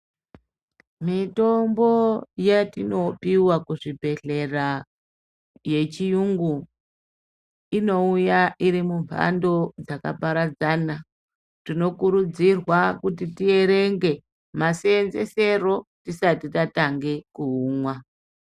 Mitombo yatinopiwa kuzvibhedhlera yechiyungu, inouya iri mumhando dzakaparadzana. Tinokurudzirwa kuti tierenge maseenzesero tisati tatange kuumwa.